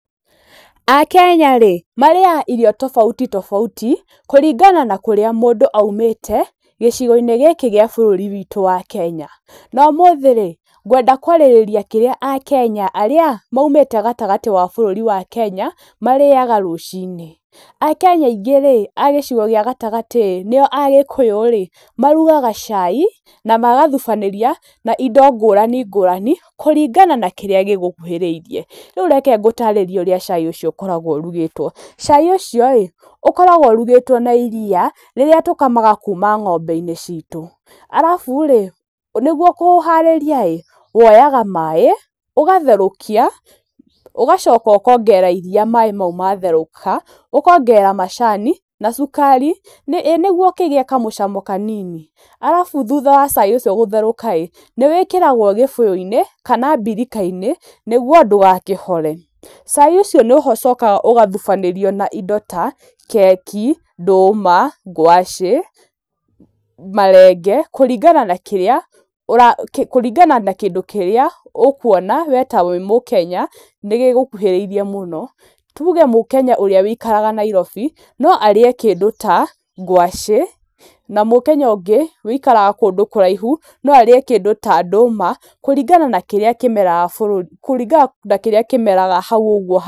Akenya rĩ, marĩaga irio tofauti tofauti kũringana na kũrĩa mũndũ aumĩte, gĩcigo-inĩ gĩkĩ gĩa bũrũri witũ wa Kenya. Na ũmũthĩ rĩ, ngwenda kwarĩrĩria kĩrĩa akenya arĩa maumĩte gatagatĩ wa bũrũri wa Kenya marĩaga rũcinĩ. Akenya aingĩ rĩ, a gĩcigo gĩa gatagatĩ nĩo Agĩkũyũ rĩ, marugaga cai, na magathubanĩria na indo ngũrani ngũrani kũringana na kĩrĩa gĩgũkuhĩrĩirie. Rĩu reke ngũtarĩrie ũrĩa cai ũcio ũkoragwo ũrugĩtwo. Cai ũcio rĩ, ũkoragwo ũrugĩtwo na iriia rĩrĩa tũkamaga kuuma ng'ombe-inĩ citũ, arabu rĩ, nĩguo kũũharĩria rĩ, woyaga maĩ, ũgatherũkia, ũgacoka ũkongerera iriia maĩ mau matherũka, ũkongerera macani na cukari nĩ, ĩ nĩguo ũkĩgĩe na kamũcamo kanini. Arabu thutha wa cai ũcio gũtherũka rĩ, nĩ wĩkĩragwo gĩbuyũ-inĩ, kana mbirika-inĩ nĩguo ndũgakĩhore. Cai ũcio nĩ ũcokaga ũgathubanĩrio na indo ta keki, ndũma, ngwacĩ, marenge, kũringana na kĩrĩa ũra, kũringana na kĩndũ kĩrĩa ũkuona we ta wĩ mukenya nĩ gĩgũkuhĩrĩirie mũno. Tuge mũkenya ũrĩa wũikaraga Nairobi, no arĩe kĩndũ ta ngwacĩ, na mũkenya ũngĩ wũikaraga kũndũ kũraihu, no arĩe kĩndũ ta ndũma kũringana na kĩrĩa kĩmeraga bũrũri, kũringana na kĩrĩa kĩmeraga hau ũguo hao.